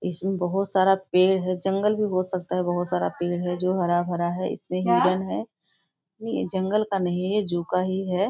इसमें बहुत सारा पेड़ है जंगल भी हो सकता है बहुत सारा पेड़ है जो हरा भरा है इसमें नहीं जंगल का नही यह जू का ही है।